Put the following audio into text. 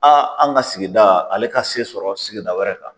A an ka sigida ale ka se sɔrɔ sigida wɛrɛ kan